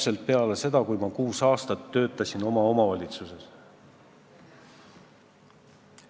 See oli peale seda, kui ma kuus aastat töötasin omavalitsuses.